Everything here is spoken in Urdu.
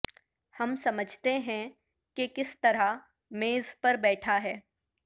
ہم سمجھتے ہیں کہ کس طرح میز پر بیٹھا ہے